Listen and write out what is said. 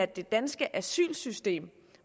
det danske asylsystem